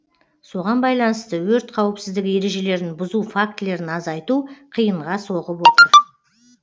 соған байланысты өрт қауіпсіздігі ережелерін бұзу фактілерін азайту қиынға соғып отыр